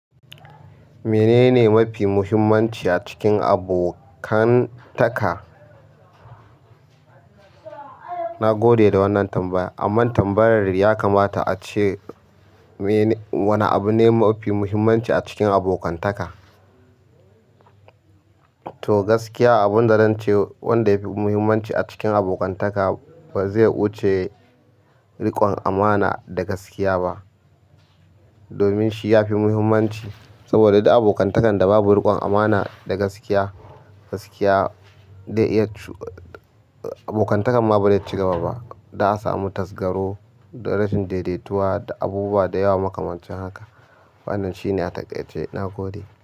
Menene mafi muhimmanci a cikin abokantaka? Nagode da wannan tambaya, an mun tambayar ya kamata ace, mene, wane abu ne mafi muhimmanci a cikin abokantaka? To gaskiya abinda zance wanda yafi muhimmanci a cikin abokantaka bazai wuce riƙon amana da gaskiya ba. Domin shi yafi muhimmanci saboda duk abokantakan da babu riƙon amana da gaskiya, gaskiya dai iya abokantakan ma bazai cigaba ba. Za'a samu tasgaro da rashin daidaituwa da abubuwa dayawa makamancin haka. Wannan shine a taƙaice nagode.